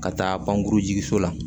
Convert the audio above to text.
Ka taa pankurun jigin so la